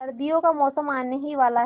सर्दियों का मौसम आने ही वाला है